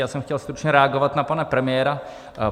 Já jsem chtěl stručně reagovat na pana premiéra.